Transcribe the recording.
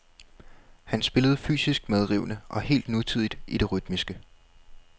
Han spillede fysisk medrivende og helt nutidigt i det rytmiske.